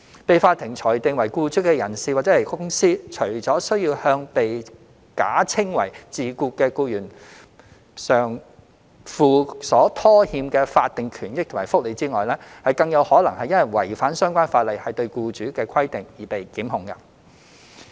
被法庭裁定為僱主的人/公司，除需向被假稱為自僱的僱員償付所拖欠的法定權益及福利外，更有可能因違反相關法例對僱主的規定而被檢控。